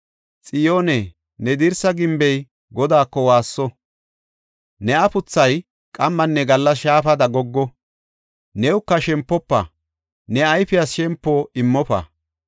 Xiyoone, ne dirsa gimbey Godaako waasso! ne afuthay qammanne gallas shaafada goggo! Newuka shempofa; ne ayfiyas shempo immofa!